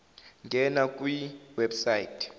ngena kwi website